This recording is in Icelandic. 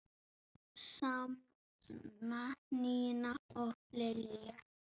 Sanna, Nína og Lilja.